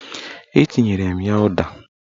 Etinyere m ya ụda